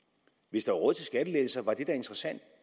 hvis der var råd til skattelettelser var det da interessant